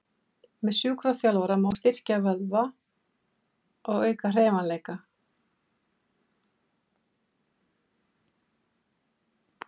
Með sjúkraþjálfun má styrkja vöðva og auka hreyfanleika.